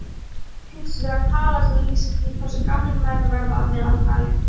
Meðalævi er hins vegar tala sem lýsir því hversu gamlir menn verða að meðaltali.